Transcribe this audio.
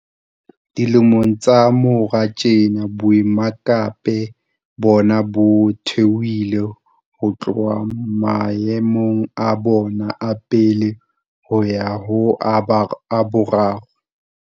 Dilemong tsa morao tjena, boemakepe bona bo theohile ho tloha maemong a bona a pele ho ya ho a boraro.